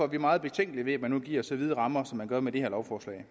vi meget betænkelige ved at man nu giver så vide rammer som man gør med det her lovforslag